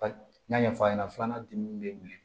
N y'a ɲɛfɔ a ɲɛna filanan dimi bɛ wuli